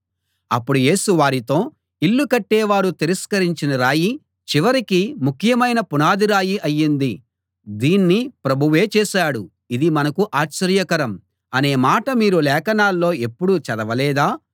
అప్పుడు యేసు వారితో ఇల్లు కట్టేవారు తిరస్కరించిన రాయి చివరికి ముఖ్యమైన పునాది రాయి అయ్యింది దీన్ని ప్రభువే చేశాడు ఇది మనకు ఆశ్చర్యకరం అనే మాట మీరు లేఖనాల్లో ఎప్పుడూ చదవలేదా